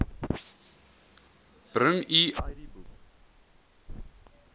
bring u idboek